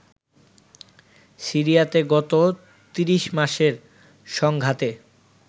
সিরিয়াতে গত ৩০ মাসের সংঘাতে